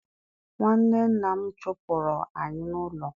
Nwanne nna m chụpụrụ anyị n'ụlọ